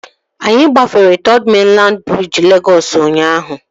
Anyị gafere Third Mainland briji Legọs ụnyaahụ